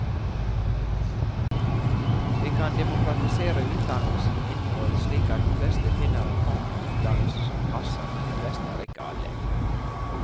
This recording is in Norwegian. Vi kan demokratisere utdannelsens innhold slik at de fleste finner en form for utdannelse som passer, men de fleste er ikke alle.